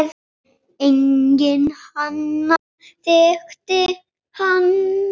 Enginn annar þekkti hann.